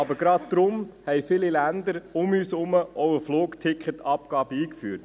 Aber gerade deshalb haben viele Länder um uns herum auch eine Flugticketabgabe eingeführt.